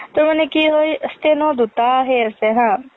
তোৰ মানে কি হয়, steno দুটা সেই আছে হা।